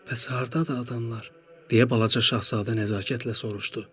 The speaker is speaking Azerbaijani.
Bəs hardadır adamlar, deyə balaca Şahzadə nəzakətlə soruşdu?